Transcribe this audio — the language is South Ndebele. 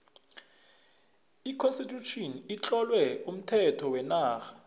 j constitution itlowe umthetho wenarha